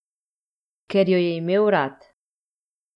Ker jo je imel rad.